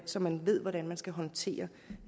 så man ved hvordan man skal håndtere